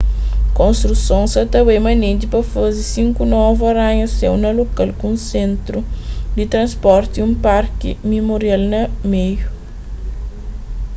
konstruson sa ta bai manenti pa faze sinku novu aranha-séu na lokal ku un sentru di transporti y un parki mimorial na meiu